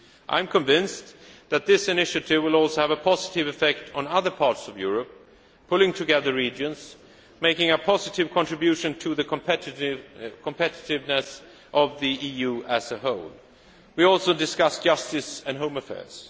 I am convinced that this initiative will also have a positive effect on other parts of Europe, pulling regions together and making a positive contribution to the competitiveness of the EU as a whole. We also discussed justice and home affairs.